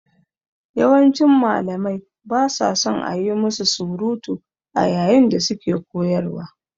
Yawancin Malamai ba sa son a yi musu surutu a yayin da suke koyarwa.